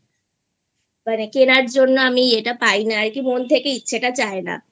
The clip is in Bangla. মানে কেনার জন্য আমি এটা পাই না আরকি মন থেকে ইচ্ছা টা চায় নাI